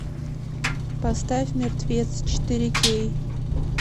поставь мертвец четыре кей